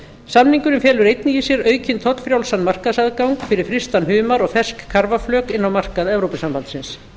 samningurinn felur einnig í sér aukinn tollfrjálsan markaðsaðgang fyrir frystan humar og fersk karfaflök inn á markað evrópusambandsins